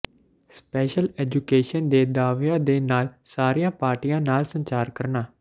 special education ਦੇ ਦਾਅਵਿਆਂ ਦੇ ਨਾਲ ਸਾਰੀਆਂ ਪਾਰਟੀਆਂ ਨਾਲ ਸੰਚਾਰ ਕਰਨਾ